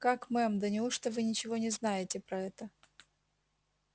как мэм да неужто вы ничего не знаете про это